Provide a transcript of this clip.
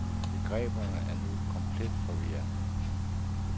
Begreberne er nu komplet forvirrede.